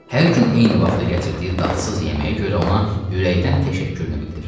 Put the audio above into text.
Hər gün eyni vaxtda gətirdiyi dadsız yeməyə görə ona ürəkdən təşəkkürünü bildirirdi.